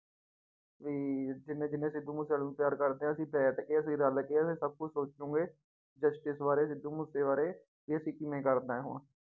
ਵੀ ਜਿੰਨੇ ਜਿੰਨੇ ਸਿੱਧੂ ਮੂਸੇਵਾਲੇ ਨੂੰ ਪਿਆਰ ਕਰਦੇ ਆ ਅਸੀਂ ਬੈਠ ਕੇ ਤੇ ਰਲ ਕੇ ਸਭ ਕੁਛ ਸੋਚੋਂਗੇ justice ਬਾਰੇ ਸਿੱਧੂ ਮੂਸੇ ਬਾਰੇ ਵੀ ਅਸੀਂ ਕਿਵੇਂ ਕਰਨਾ ਹੈ ਹੁਣ।